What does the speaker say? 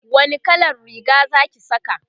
wani kallan Riga Zaki Saka?